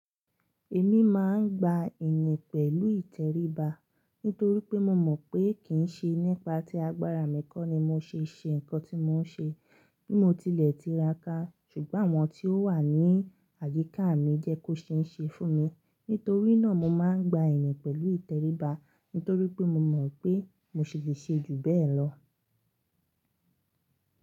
Èmi máa ń gba iyin pẹ̀lú ìtẹríba nítorí pé mo mọ̀ pé kì í ṣe nípa tí agbára mi kọ́ ni mo ṣe ṣe nǹkan tí mò ń ṣe bí mo tilẹ̀ tí ra ká. Ṣùgbọ́n àwọn tí ó wà ní àyíká mi jẹ́ kó ṣe ń ṣe fún mi. Nítorí náà mo máa ń gba ìyin pẹ̀lú ìtẹríba nítorí pé mo mọ̀ pé mo ṣi lè ṣe ju bẹ́ẹ̀ lọ.